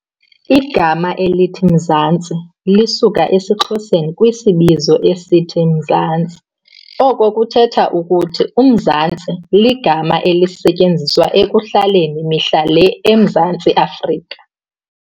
Igama elithi "Mzansi", lisuka esiXhoseni kwisibizo esithi "umzantsi", oko kuthetha ukuthi "mzantsi", igama elisetyenziswa ekuhlaleni mihla le eMzantsi Afrika.